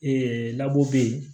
Ee bɛ yen